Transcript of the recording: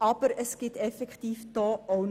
Aber auch hier ist noch Luft vorhanden.